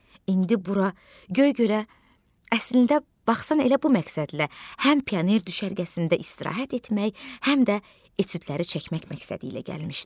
İndi bura Göygölə əslində baxsan elə bu məqsədlə, həm pioner düşərgəsində istirahət etmək, həm də etüdləri çəkmək məqsədilə gəlmişdi.